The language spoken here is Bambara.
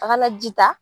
A kana ji ta